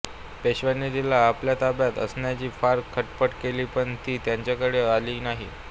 पेशव्यांनीं तिला आपल्या ताब्यांत आणण्याची फार खटपट केली पण ती त्यांच्याकडे आली नाही